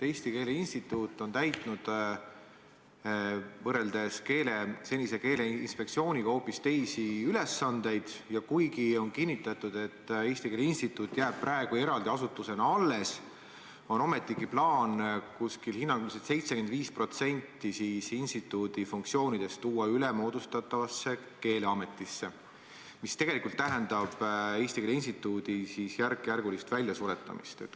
Eesti Keele Instituut on täitnud võrreldes senise Keeleinspektsiooniga hoopis teisi ülesandeid ja kuigi on kinnitatud, et Eesti Keele Instituut jääb eraldi asutusena alles, on ometigi plaan hinnanguliselt 75% instituudi funktsioonidest anda üle moodustatavale keeleametile, mis tegelikult tähendab Eesti Keele Instituudi järkjärgulist väljasuretamist.